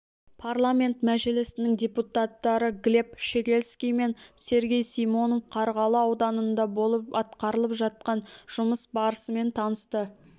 парламент мәжілісінің депутаттары глеб щегельский мен сергей симонов қарғалы ауданында болып атқарылып жатқан жұмыс барысымен танысты